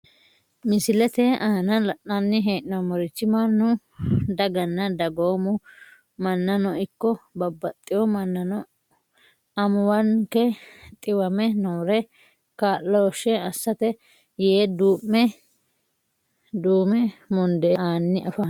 Misilete aana la`nani heenomorichi manu daganna dagoomu manano ikko babaxewo manano amuuwanke xiwame noore kaaloshe asate yee duume mundee aani afamano.